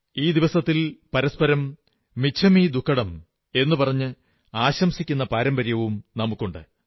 ഈ ദിവസത്തിൽ പരസ്പരം മിച്ഛമി ദുക്കഡം എന്നു പറഞ്ഞ് ആശംസിക്കുന്ന പാരമ്പര്യമുണ്ട്